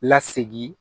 Lasegi